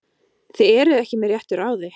Þið eruð ekki með réttu ráði!